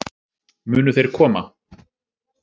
Munu þeir koma?